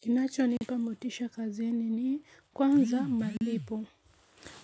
Kinachonipa motisha kazini ni, kwanza, malipo